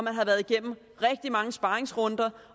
har været igennem rigtig mange sparerunder